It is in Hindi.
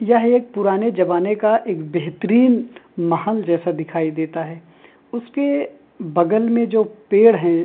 यह एक पुराने जमाने का एक बेहतरीन महल जैसा दिखाई देता है उसके बगल में जो पेड़ है --